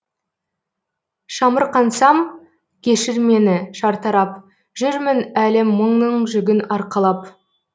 шамырқансам кешір мені шартарап жүрмін әлі мұңның жүгін арқалап